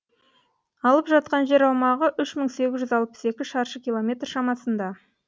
алып жатқан жер аумағы үш мың сегіз жүз алпыс екі шаршы километр шамасында